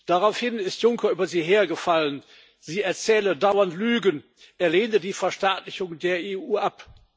Daraufhin ist Juncker über sie hergefallen, sie erzähle dauernd Lügen, er lehne die Verstaatlichung der EU ab.